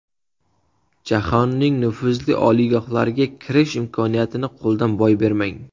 Jahonning nufuzli oliygohlariga kirish imkoniyatini qo‘ldan boy bermang.